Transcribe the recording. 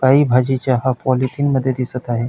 काही भजीच्या हा पॉलिथीन मध्ये दिसत आहे.